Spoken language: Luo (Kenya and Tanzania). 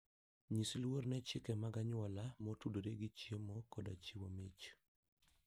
Nyis luor ne chike mag anyuola motudore gi chiemo koda chiwo mich.